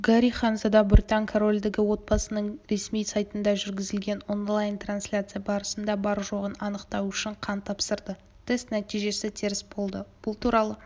гарри ханзада британ корольдігі отбасының ресми сайтында жүргізілген онлайн-трансляция барысында бар-жоғын анықтау үшін қан тапсырды тест нәтижесі теріс болды бұл туралы